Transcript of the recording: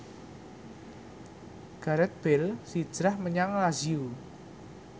Gareth Bale hijrah menyang Lazio